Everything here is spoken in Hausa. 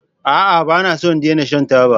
A'a! Ba na so in daina shan taba.